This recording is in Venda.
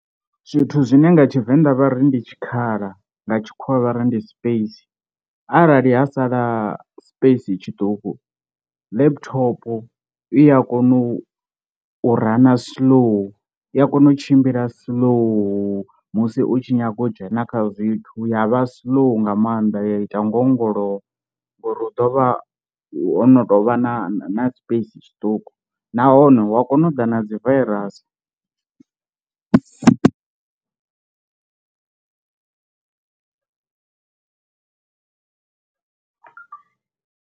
Zwithu zwine nga Tshivenda vha ri ndi tshikhala nga tshikhuwa vhari ndi space, arali ha sala space tshiṱuku laptop iya kona u u rana slow, iya kona u tshimbila slow musi u tshi nyaga u dzhena kha zwithu ya vha slow nga maanḓa ya ita ngo ongolowa ngori hu ḓovha ho no tou vha na space tshiṱuku, nahone wa kona u ḓa na dzi vairasi.